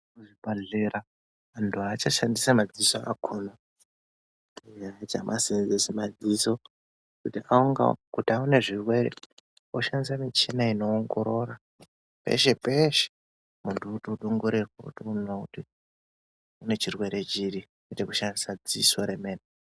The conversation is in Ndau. Kuzvibhadhlera antu aachashandisi madziso akhona ee ashamaseenzesi madziso kuti angawo Kuti aone zvirwere oshandise muchina inoongorora peshe peshe muntu otodongorewrwa otone kuti une chirwere chiri kwete kushandise dziso remene.